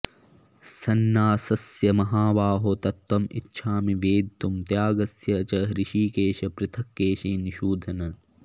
सन्न्यासस्य महाबाहो तत्त्वम् इच्छामि वेदितुम् त्यागस्य च हृषीकेश पृथक् केशिनिषूदन